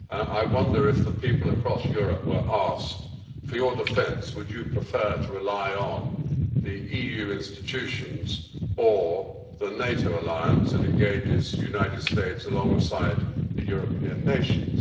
I wonder if the people across Europe were asked if, for their defence they would prefer to rely on the EU institutions or on the NATO alliance that engages the United States alongside the European nations.